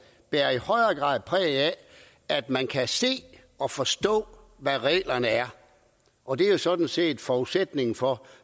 i højere grad præg af at man kan se og forstå hvordan reglerne er og det er jo sådan set forudsætningen for